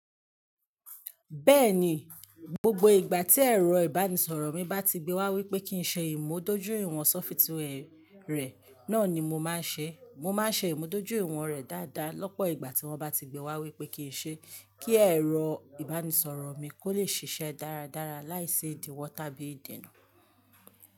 Bẹ́ẹ̀ni, gbogbo ìgbà tí ẹ̀rọ ìbánisọ̀rọ̀ mi bá ti gbé wá wípé kí n ṣe ìmúdójúìwọ̀n sọfitíwà rẹ̀ náà ni mo máa ṣe. Mo máa ṣe ìmúdójúìwọ̀n rẹ̀ dáadáa lọ́pọ̀ ìgbà tí wọ́n bá ti gbé wá wípé kí n ṣe, kí ẹ̀rọ ìbánisọ̀rọ̀ mi kó lè ṣiṣẹ́ dáradára láìsí ìdíwọ̀ tàbí ìdènà.